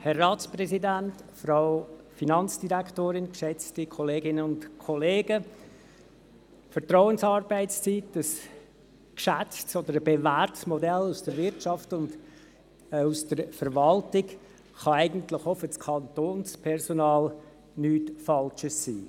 Die Vertrauensarbeitszeit, ein geschätztes oder bewährtes Modell aus der Wirtschaft und der Verwaltung, kann eigentlich auch für das Kantonspersonal nichts Falsches sein.